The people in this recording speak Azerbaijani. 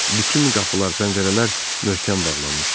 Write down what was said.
Bütün qapılar, pəncərələr möhkəm bağlanmışdı.